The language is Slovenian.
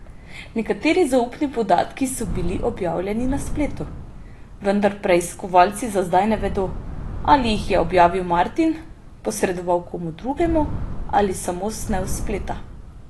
Nekateri zaupni podatki so bili objavljeni na spletu, vendar preiskovalci za zdaj ne vedo, ali jih je objavil Martin, posredoval komu drugemu ali samo snel s spleta.